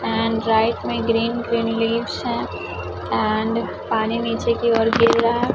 and right में green green leaves है and पानी नीचे की ओर की गिर रहा--